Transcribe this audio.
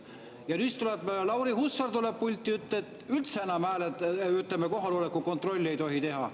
Ja siis tuleb Lauri Hussar pulti ja ütleb, et üldse enam, ütleme, kohaloleku kontrolli ei tohi teha.